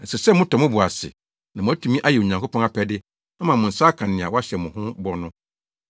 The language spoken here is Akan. Ɛsɛ sɛ motɔ mo bo ase na moatumi ayɛ Onyankopɔn apɛde ama mo nsa aka nea wɔahyɛ mo ho bɔ no.